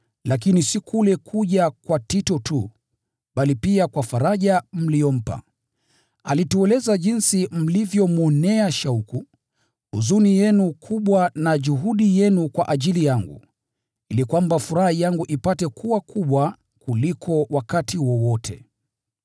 Lakini si kule kuja kwa Tito tu, bali pia kwa faraja mliyompa. Alitueleza jinsi mlivyonionea shauku, huzuni yenu kubwa na juhudi yenu kwa ajili yangu, ili kwamba furaha yangu ipate kuwa kubwa kuliko wakati wowote.